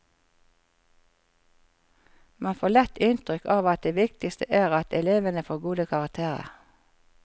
Man får lett inntrykk av at det viktigste er at elevene får gode karakterer.